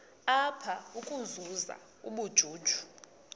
apha ukuzuza ubujuju